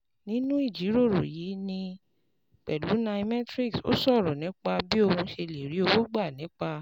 Nínú ìjíròrò yìí pẹ̀lú nairametrics, ó sọ̀rọ̀ nípa bí òun ṣe lè rí owó gbà nípa